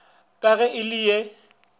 ka ge e le ye